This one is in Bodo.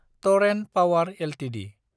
Torrent Power Ltd